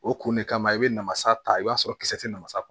O kun de kama i bɛ namasa ta i b'a sɔrɔ kisɛ tɛ namasa